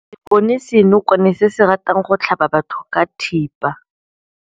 Re bone senokwane se se ratang go tlhaba batho ka thipa.